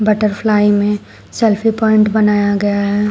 Butterfly में selfie point बनाया गया है।